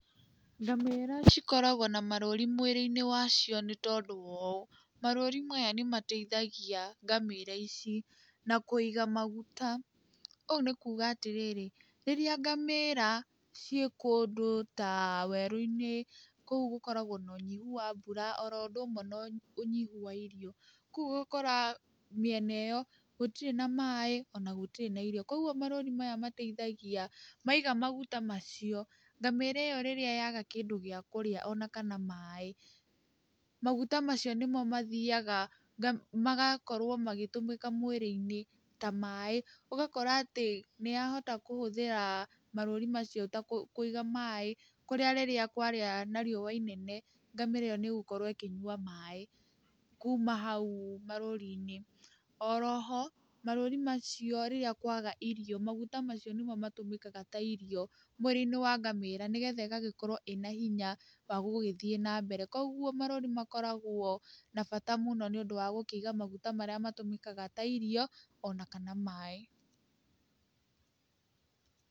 Ngamĩra cikoragwo na marũri mwirĩ-inĩ wacio nĩ tondũ wa ũũ, marũũri maya nĩ mateithagia ngamĩra ici na kũiga maguta, ũũ nĩ kuuga atĩrĩrĩ, rĩrĩa ngamĩra ciĩ kũndũ ta werũ-inĩ kũu gũkoragwo na ũnyihu wa mbura oro ũndũ ũmwe na ũnyihu wa irio, Kũguo ũgakora mĩena ĩyo gũtirĩ na maaĩ ona gũtirĩ na irio, kũguo marũũri maya mateithagia maiga maguta macio, ngamĩra ĩyo rĩrĩa yaaga kĩndũ gĩa kũrĩa ona kana maaĩ, maguta macio nĩmo mathiaga magakorwo magĩtũmĩka mwĩrĩ-inĩ ta maaĩ, ũgakora atĩ nĩ yahota gũhũthĩra marũũri macio ta kũiga maaĩ, kũrĩa rĩrĩa kwagĩa na riũa inene ngamĩra ĩyo nĩ ĩgũkorwo ĩkĩnyua maaĩ kuuma hau marũũri-inĩ. Oroho, marũũri macio rĩrĩa kwaga irio maguta macio nĩmo matũmĩkaga ta irio mwĩrĩ-inĩ wa ngamĩra, nĩ getha ĩgagĩkorwo ĩna hinya wa gũgĩthiĩ na mbere, kũguo marũũri makoragwo na bata mũno nĩ ũndũ wa gũkĩiga maguta marĩa matũmĩkaga ta irio ona kana ta maaĩ.